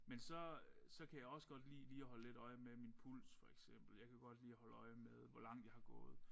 Men så øh så kan jeg også godt lide lige at holde lidt øje med min puls for eksempel. Jeg kan godt lide at holde øje med hvor langt jeg har gået